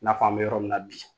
I n'a f'an be yɔrɔ min na bi